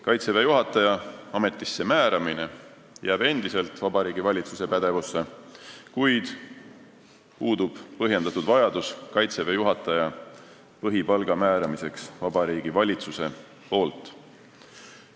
Kaitseväe juhataja ametisse määramine jääb endiselt Vabariigi Valitsuse pädevusse, kuid puudub põhjendatud vajadus, et Vabariigi Valitsus määraks Kaitseväe juhataja põhipalga.